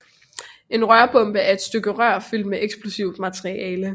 En rørbombe er et stykke rør fyldt med et eksplosivt materiale